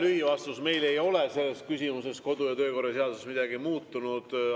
Lühivastus: meil ei ole selles küsimuses kodu‑ ja töökorra seaduses midagi muutunud.